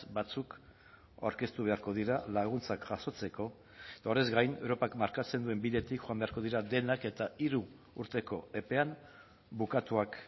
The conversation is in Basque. batzuk aurkeztu beharko dira laguntzak jasotzeko eta horrez gain europak markatzen duen bidetik joan beharko dira denak eta hiru urteko epean bukatuak